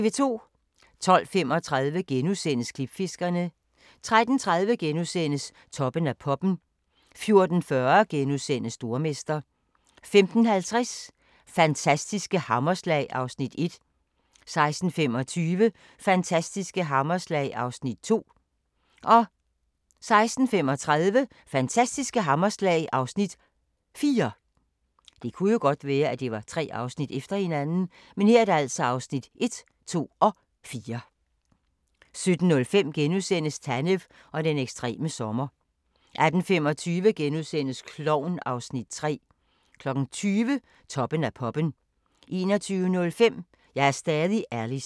12:35: Klipfiskerne * 13:30: Toppen af poppen * 14:40: Stormester * 15:50: Fantastiske hammerslag (Afs. 1) 16:25: Fantastiske hammerslag (Afs. 2) 16:35: Fantastiske hammerslag (Afs. 4) 17:05: Tanev og den ekstreme sommer * 18:25: Klovn (Afs. 3)* 20:00: Toppen af poppen 21:05: Jeg er stadig Alice